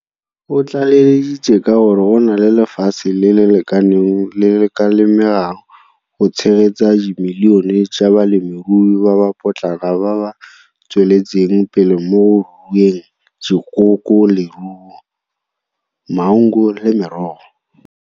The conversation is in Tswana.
O tlaleleditse ka gore go na le lefatshe le le lekaneng le le ka lemegang go tshegetsa dimilione tsa balemirui ba ba potlana ba ba tsweletseng pele mo go rueng dikoko, leruo, maungo le merogo.